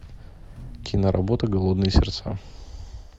киноработа голодные сердца